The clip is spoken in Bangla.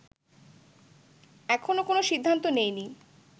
এখনো কোন সিদ্ধান্ত নেইনি